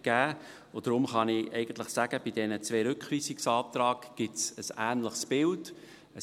Deshalb kann ich eigentlich sagen, dass es bei diesen beiden Rückweisungsanträgen ein ähnliches Bild gibt: